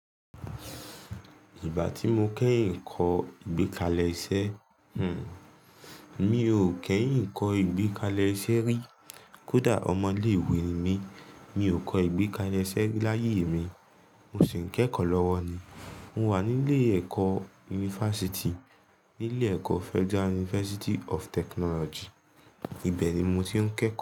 Ìgbà tí mo kẹ́yìn kọ ìgbékalẹ̀ iṣẹ́, hmm, mi ò kẹ́yìn kọ ìgbékalẹ̀ iṣẹ́ rí. Kódà ọmọ ilé ìwé ni mí, mi ò kọ ìgbékalẹ̀ iṣẹ́ rí láyé mi. Mo sì ń kẹ́kọ̀ọ́ lọ́wọ́ ni. Mo wà nílé ẹ̀kọ́ yunifásítì, nílé ẹ̀kọ́ Federal University of Technology. Ibẹ̀ ni mo ti ń kẹ́kọ̀ọ́